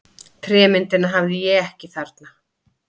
Trémyndina hafði ég ekki þarna.